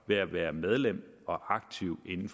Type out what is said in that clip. ved at være medlem af og aktiv i de